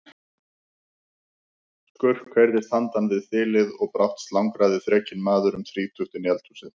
Skurk heyrðist handan við þilið og brátt slangraði þrekinn maður um þrítugt inn í eldhúsið.